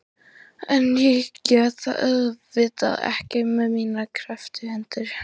En ég get það auðvitað ekki með mínar krepptu hendur.